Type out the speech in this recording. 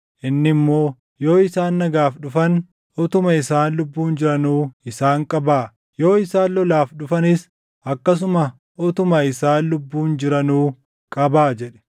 Inni immoo, “Yoo isaan nagaaf dhufan utuma isaan lubbuun jiranuu isaan qabaa; yoo isaan lolaaf dhufanis akkasuma utuma isaan lubbuun jiranuu qabaa” jedhe.